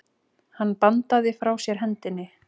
Hann bandaði frá sér hendinni.